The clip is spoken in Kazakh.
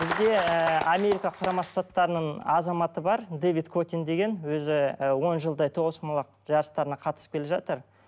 бізде ы америка құрама штаттарының азаматы бар дэвид котин деген өзі і он жылдай тоғызқұмалақ жарыстарына қатысып келе жатыр